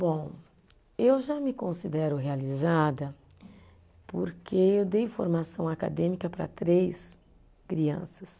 Bom, eu já me considero realizada porque eu dei formação acadêmica para três crianças.